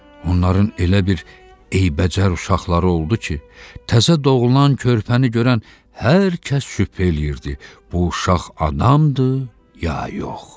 Onların elə bir eybəcər uşaqları oldu ki, təzə doğulan körpəni görən hər kəs şübhə eləyirdi, bu uşaq adamdır ya yox.